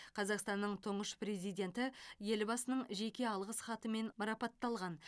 қазақстанның тұңғыш президенті елбасының жеке алғыс хатымен марапатталған